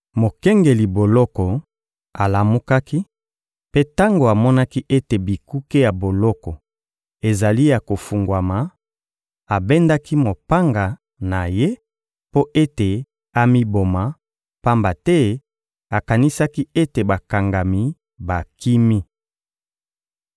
Mokengeli boloko alamukaki; mpe tango amonaki ete bikuke ya boloko ezali ya kofungwama, abendaki mopanga na ye mpo ete amiboma, pamba te akanisaki ete bakangami bakimi.